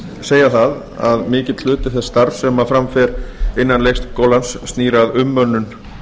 segja það að mikill hluti þess starfs sem fram fer innan leikskólans snýr að umönnun